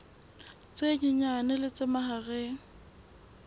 tse nyenyane le tse mahareng